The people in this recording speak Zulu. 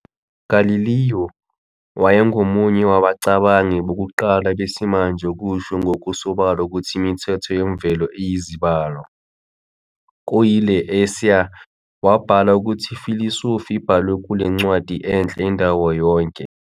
Galileo wayengomunye wabacabangi bokuqala besimanje ukusho ngokusobala ukuthi imithetho yemvelo iyizibalo. Kuyi "Le Assayer", wabhala ukuthi "I-Philosophy ibhalwe kule ncwadi enhle, indawo yonke.